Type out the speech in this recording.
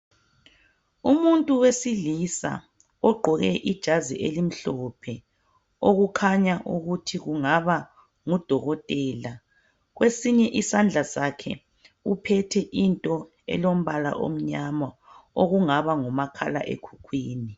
Umuntu wesilisa ogqoke ijazi elimhlophe. Okukhanya ukuthi kungaba ngudokotela. Kwesinye isandla sakhe uphethe into elombala omnyama, okungaba ngumakhala ekhukhwini.